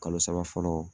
Kalo saba fɔlɔ